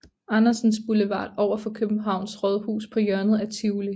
Andersens Boulevard overfor Københavns Rådhus på hjørnet af Tivoli